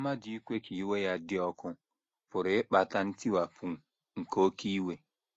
Mmadụ ikwe ka iwe ya “ dị ọkụ ” pụrụ ịkpata ntiwapụ nke oké iwe!